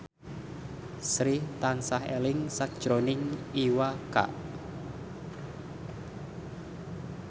Sri tansah eling sakjroning Iwa K